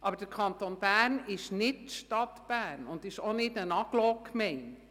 Aber der Kanton Bern ist weder die Stadt Bern noch eine Agglomerationsgemeinde.